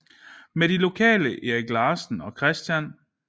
Med de lokale Erik Larsen og Chr